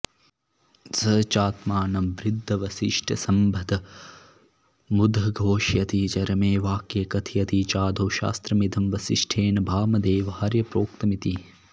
स चात्मानं वृद्धवसिष्ठसम्बद्धमुदघोषयति चरमे वाक्ये कथयति चादौ शास्त्रमिदं वसिष्ठेन वामदेवार्य प्रोक्तमिति